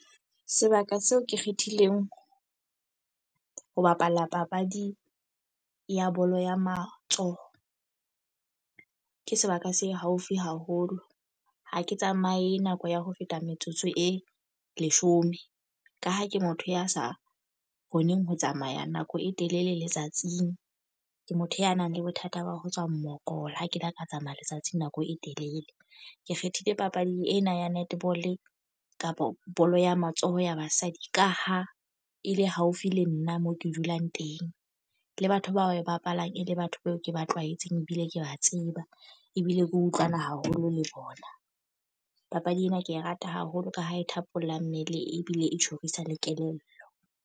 Sebaka seo ke kgethileng ho bapala papadi ya bolo ya matsoho. Ke sebaka se haufi haholo. Ha ke tsamaye nako ya ho feta metsotso e leshome. Ka ha ke motho ya sa kgoneng ho tsamaya nako e telele letsatsing. Ke motho ya nang le bothata ba ho tswa mokola ha ke la ka tsamaya letsatsing nako e telele. Ke kgethile papadi ena ya netball kapa bolo ya matsoho ya basadi ka ha e le haufi le nna mo ke dulang teng. Le batho bao ba e bapalang e le batho bao ke ba tlwaetseng, ebile ke ba tseba. Ebile ke utlwana haholo le bona. Papadi ena ke e rata haholo ka ha e thapolla mmele ebile e tjhorisa le kelello.